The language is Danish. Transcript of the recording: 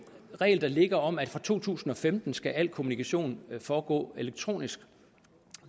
regel der ligger om at fra to tusind og femten skal al kommunikation foregår elektronisk